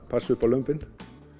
passa upp á lömbin